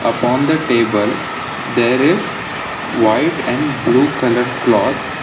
upon the table there is white and blue colour cloth.